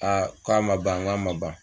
ko a man ban wa n k'a man ban.